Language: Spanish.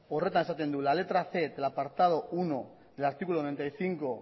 horretan esaten du la letra cien del apartado uno del artículo noventa y cinco